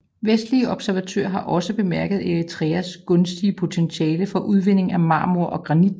Vestlige observatører har også bemærket Eritreas gunstige potentiale for udvinding af marmor og granit